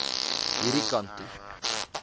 hierdie kant toe